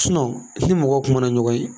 ni mɔgɔw kumana ɲɔgɔn ye